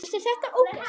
Mínir menn!